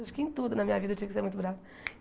Acho que em tudo na minha vida eu tive que ser muito brava.